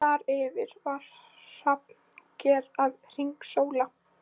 Þar yfir var hrafnager að hringsóla.